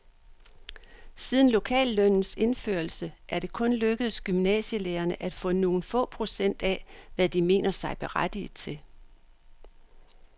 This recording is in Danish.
Siden lokallønnens indførelse er det kun lykkedes gymnasielærerne at få nogle få procent af, hvad de mener sig berettiget til.